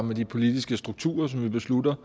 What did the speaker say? med de politiske strukturer som vi beslutter